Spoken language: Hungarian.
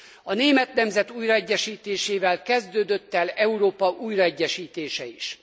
A német nemzet újraegyesítésével kezdődött el Európa újraegyesítése is.